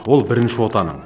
ол бірінші отаның